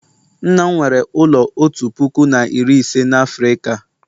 nna m nwere ụlọ otu puku na iri ise na Afrịka